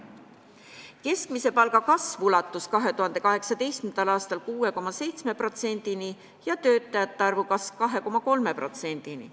Keskmise palga kasv ulatus 2018. aastal 6,7%-ni ja töötajate arvu kasv 2,3%-ni.